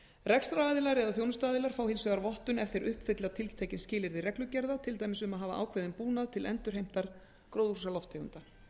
rekstraraðilar eða þjónustuaðilar fá hins vegar vottun ef þeir uppfylla tiltekin skilyrði reglugerða til dæmis um að hafa ákveðinn búnað til endurheimtar gróðurhúsalofttegunda